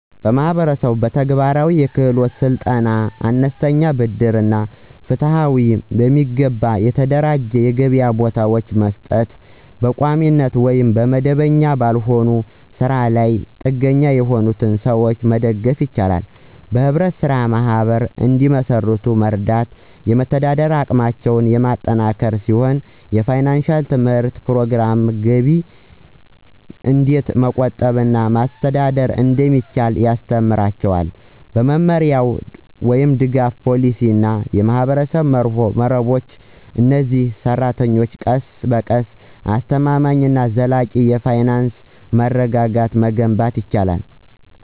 ህብረተሰቡ በተግባራዊ የክህሎት ስልጠና፣ አነስተኛ ብድር እና ፍትሃዊ፣ በሚገባ የተደራጁ የገበያ ቦታዎችን በመስጠት በቋሚነት ወይም መደበኛ ባልሆነ ስራ ላይ ጥገኛ የሆኑትን ሰዎች መደገፍ ይችላል። ህብረት ስራ ማህበራት እንዲመሰርቱ መርዳት የመደራደሪያ አቅማቸውን የሚያጠናክር ሲሆን የፋይናንሺያል ትምህርት ፕሮግራሞች ገቢን እንዴት መቆጠብ እና ማስተዳደር እንደሚችሉ ያስተምራቸዋል። በመመሪያ፣ ደጋፊ ፖሊሲዎች እና የማህበረሰብ መረቦች፣ እነዚህ ሰራተኞች ቀስ በቀስ አስተማማኝ እና ዘላቂ የፋይናንስ መረጋጋትን መገንባት ይችላሉ።